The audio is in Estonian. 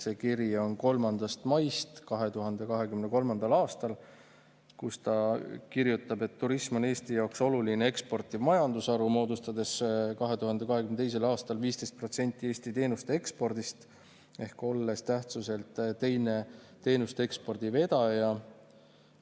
See kiri on 3. maist 2023. aastal, kus ta kirjutab: "Turism on Eesti jaoks oluline eksportiv majandusharu, moodustades 2022. aastal 15% Eesti teenuste ekspordist ehk olles tähtsuselt teine teenusteekspordi vedaja Eestis.